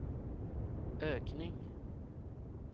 ökning